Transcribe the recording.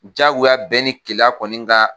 Diyagoya bɛn ni kelenya kɔni ka